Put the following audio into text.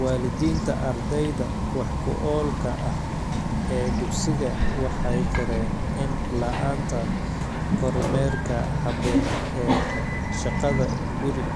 Waalidiinta ardayda wax-ku-oolka ah ee dugsiga waxay qireen in la'aanta kormeerka habboon ee shaqada-guri